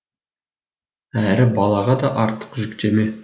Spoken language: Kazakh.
әрі балаға да артық жүктеме